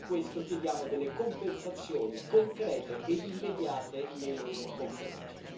Per questo chiediamo delle compensazioni concrete e immediate nei loro confronti.